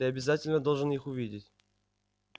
ты обязательно должен их увидеть